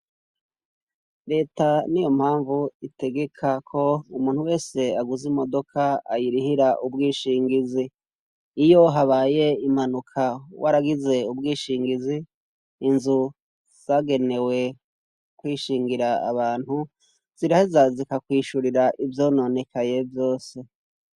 Leta ni yo mpamvu itegeka ko umuntu wese aguze imodoka ayirihira ubwishingizi iyo habaye imanuka wo aragize ubwishingizi inzu zagenewe kwishingira abantu ziraho zazikakwishurira ivyononekaye vyose.